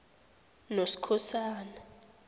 noskhosana